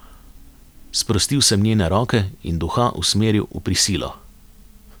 Sprostil sem njene roke in duha usmeril v prisilo.